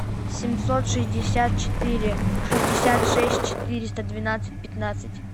семьсот шестьдесят четыре шестьдесят шесть четыреста двенадцать пятнадцать